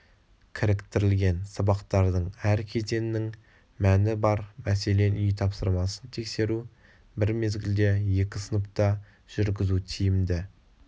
кіріктірілген сабақтардың әр кезеңінің мәні бар мәселен үй тапсырмасын тексеру бір мезгілде екі сыныпта жүргізу тиімді